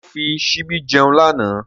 Ṣé ó fi ṣíbí jẹun lánàá?